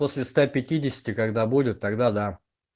после ста пятидесяти когда будет тогда да